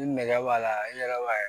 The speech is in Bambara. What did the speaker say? Ni nɛgɛ b'a la i yɛrɛ b'a ye